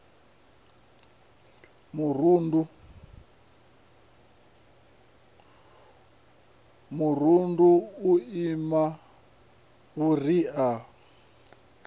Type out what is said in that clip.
murundu u ima vhuria hu